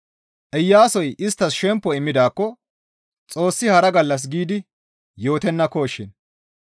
Iyaasoy isttas shempo immidaakko Xoossi hara gallas giidi yootennakoshin.